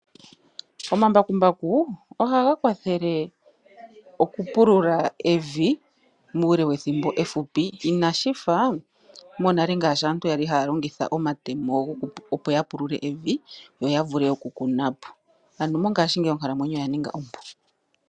Omambakumbaku ohaga kwathele oku pulula evi muule wethimbo efupi inashifa monale ngaashi aantu yali haya longitha omatemo opo ya pulule evi yoya vule oku kunapo ano mongaashi ngeyi onkalamwenyo oya ninga ompu.